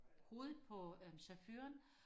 hovedet på øh chaufføren